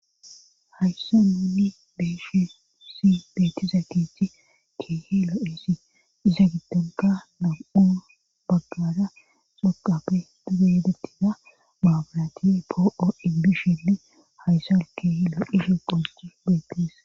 haysso ninni beeshesi beetiza githi kiehi lo7isi diza gidonka num7u baggara xoqafe duge yedettina maabirati po7oibi shili hayssa wul kiehi lo7ihi qonsxi beetes